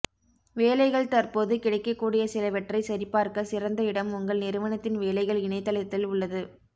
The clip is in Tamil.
வேலைகள் தற்போது கிடைக்கக்கூடிய சிலவற்றை சரிபார்க்க சிறந்த இடம் உங்கள் நிறுவனத்தின் வேலைகள் இணையதளத்தில் உள்ளது